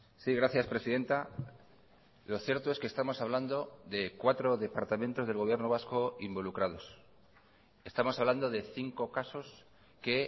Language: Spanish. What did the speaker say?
sí gracias presidenta lo cierto es que estamos hablando de cuatro departamentos del gobierno vasco involucrados estamos hablando de cinco casos que